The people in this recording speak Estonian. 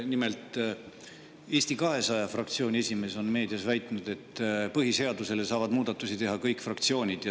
Nimelt, Eesti 200 fraktsiooni esimees on meedias väitnud, et põhiseaduse kohta saavad muudatusettepanekuid teha kõik fraktsioonid.